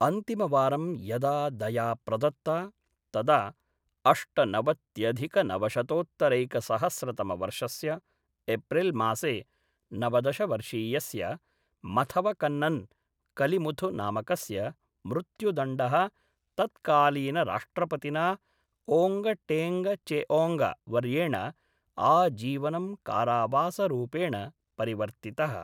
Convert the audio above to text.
अन्तिमवारं यदा दया प्रदत्ता तदा अष्टनवत्यधिकनवशतोत्तरैकसहस्रतमवर्षस्य एप्रिल्मासे नवदश वर्षीयस्य मथवकन्नन् कलिमुथु नामकस्य मृत्युदण्डः तत्कालीनराष्ट्रपतिना ओङ्ग टेङ्ग चेओङ्ग वर्येण आजीवनं कारावासरूपेण परिवर्तितः।